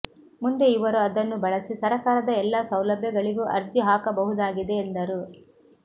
ಮುಂದೆ ಇವರು ಅದನ್ನು ಬಳಸಿ ಸರಕಾರದ ಎಲ್ಲಾ ಸೌಲಭ್ಯಗಳಿಗೂ ಅರ್ಜಿ ಹಾಕಬಹುದಾಗಿದೆ ಎಂದರು